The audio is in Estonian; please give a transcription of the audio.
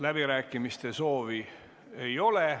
Läbirääkimiste soovi ei ole.